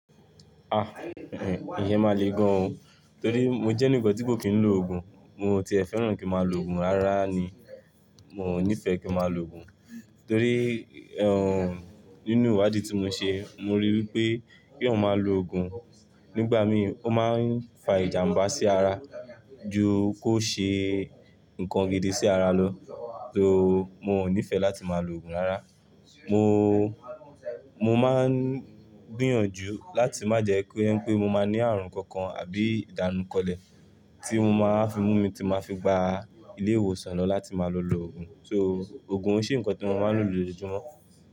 Ah, ìyẹn máa le gan o, torí mo jẹ́ ẹnìkan tí kò kí ń lo òògùn, mo ti e fẹ́ràn kí n máa lo òògùn rárá ni, mi o ní fẹ́ kí n máa lo òògùn, torí, ehn, nínú ìwádìí tí mo ṣe, mo ríi wí pé kí èèyàn máa lo òògùn nígbà mí ọ máa ń fa ìjàmbá sí ara ju kó ṣe nnkan gidi sí ara lọ. So mi o ní fẹ́ láti máa lo òògùn rárá, mo, mo máa ń gbìyànjú láti má ko jẹ́ pé mo máa ní ààrùn kankan àbí ìdánu kolẹ̀ tí o máa wa fi mú mi tí máa fi gba ilé ìwòsàn lọ láti máa lọ lo òògùn. So òògùn oi ṣe ńkan tí mo máa ń lò lójoojúmọ́.